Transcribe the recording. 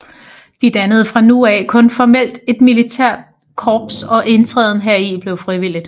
De dannede fra nu af kun formelt et militært korps og indtrædelsen deri blev frivillig